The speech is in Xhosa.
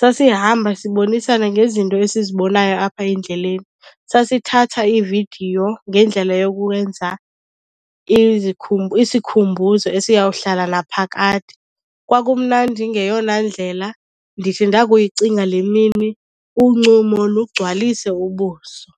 Sasihamba sibonisana ngezinto esizibonayo apha endleleni, sasithatha iividiyo ngendlela yokwenza isikhumbuzo esiyawuhlala naphakade. Kwakumnandi ngeyona ndlela. Ndithi ndakuyicinga le mini uncumo lugcwalise ubuso.